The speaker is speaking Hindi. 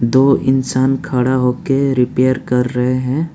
तो इंसान खड़ा होकर रिपेयर कर रहे हैं।